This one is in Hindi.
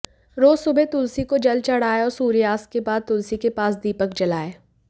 रोज सुबह तुलसी को जल चढ़ाएं और सूर्यास्त के बाद तुलसी के पास दीपक जलाएं